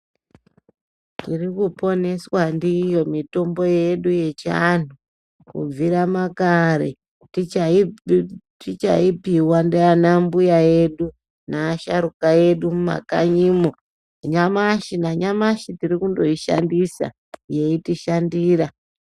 Tirikuponeswa ndiyo mitombo yedu yechianhu , kubvira makare tichaipiwa ndiana mbuya edu neasharuka edu mumakanyimo, nanyamashi tirikundoishandisa yeitishandira.